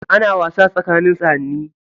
Ana wasa tsakanin sa'ani.